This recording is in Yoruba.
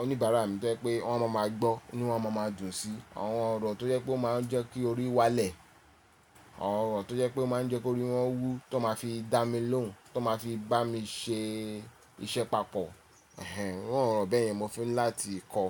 oníbàárà mi tẹ́ pé wọ́n má máa gbọ́ ní wọ́n ó máa ma dùnsí. Àwọn ọ̀rọ̀ tó jẹ́ pé ó máa ń jẹ́ kí orí wálẹ̀, àwọn ọ̀rọ̀ tó jẹ́ pé ó máa ń jẹ́ kí orí wọ́n wú tó máa fi dá mi lóhùn, tó máa fi bá mi ṣe iṣẹ́ papọ̀. Ẹ̀hẹ̀n, àwọn ọ̀rọ̀ bẹ́ẹ̀ yẹn mo fẹ́ láti kọ́.